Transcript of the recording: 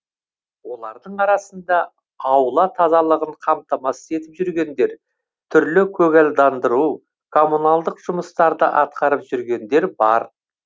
олардың арасында аула тазалығын қамтамасыз етіп жүргендер түрлі көгалдандыру коммуналдық жұмыстарды атқарып жүргендер бар